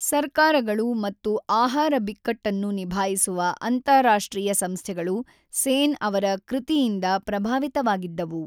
ಸರ್ಕಾರಗಳು ಮತ್ತು ಆಹಾರ ಬಿಕ್ಕಟ್ಟನ್ನು ನಿಭಾಯಿಸುವ ಅಂತಾರಾಷ್ಟ್ರೀಯ ಸಂಸ್ಥೆಗಳು ಸೇನ್‌ ಅವರ ಕೃತಿಯಿಂದ ಪ್ರಭಾವಿತವಾಗಿದ್ದವು.